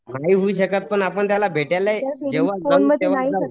नाही होऊ शकत पण आपण त्याला भेटायला जेंव्हा जाऊ तेंव्हा जाऊ